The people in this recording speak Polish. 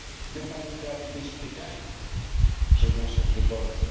My mamy prawo być o to pytani przez naszych wyborców.